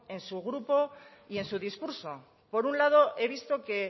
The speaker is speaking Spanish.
en su grupo y en su discurso por un lado he visto que